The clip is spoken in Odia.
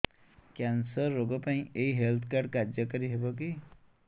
କ୍ୟାନ୍ସର ରୋଗ ପାଇଁ ଏଇ ହେଲ୍ଥ କାର୍ଡ କାର୍ଯ୍ୟକାରି ହେବ କି